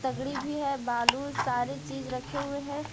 तगड़ी भी है बालू सारी चीज रखे हुए है।